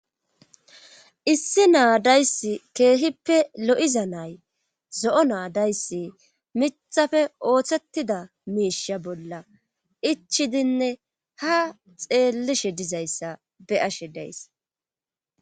issi naadaysi keehippe lo7iza nay zo7o naadayssi mithafe ooththettada miisha bolla ichidinne ha xeellishe dizayssa be ashe dayss